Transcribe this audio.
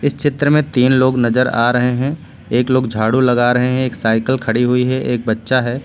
इस चित्र में तीन लोग नजर आ रहे हैं। एक लोग झाड़ू लगा रहे हैं। एक साइकल खड़ी हुई है। एक बच्चा है।